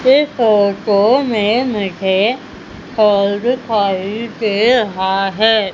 इस फोटो में मुझे हॉल दिखाई दे रहा है।